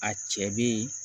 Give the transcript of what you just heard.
A cɛ be yen